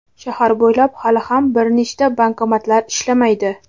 Shahar bo‘ylab hali ham bir nechta bankomatlar ishlamaydi.